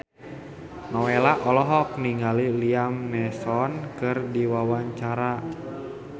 Nowela olohok ningali Liam Neeson keur diwawancara